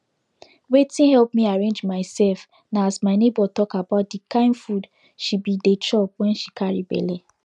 wetin help me arrange myself na as my neighbor talk about de kind food she be dey chop when she carry belle